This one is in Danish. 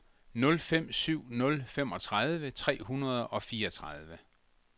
nul fem syv nul femogtredive tre hundrede og fireogtredive